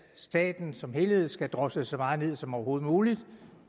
staten som helhed skal drosles så meget ned som overhovedet muligt